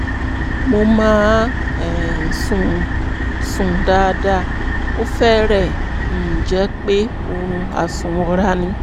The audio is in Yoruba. mo máa um ń sùn ń sùn dáadáa (ó fẹ́rẹ̀ẹ́ um jẹ́ pé oorun àsùnwọra ni)